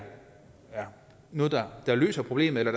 noget der har løst problemet eller